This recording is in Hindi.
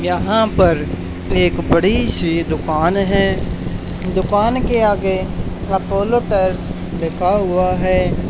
यहाँ पर एक बड़ी सी दुकान है दुकान के आगे अपोलो टायर्स लिखा हुआ है।